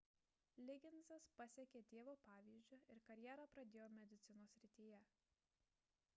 ligginsas pasekė tėvo pavyzdžiu ir karjerą pradėjo medicinos srityje